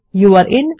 যৌরে in